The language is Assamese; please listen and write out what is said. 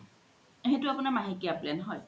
সেইতো আপুনাৰ মাহেকিয়া plan হয়